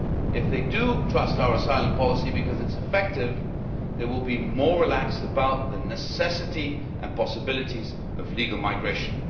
If they do trust our asylum policy because it is effective, they will be more relaxed about the necessity and possibilities of legal migration.